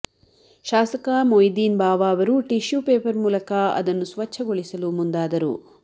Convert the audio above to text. ಶಾಸಕ ಮೊಯ್ದೀನ್ ಬಾವ ಅವರು tissue paper ಮೂಲಕ ಅದನ್ನು ಸ್ವಚ್ಛಗೊಳಿಸಲು ಮುಂದಾದರು